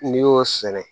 N'i y'o sɛnɛ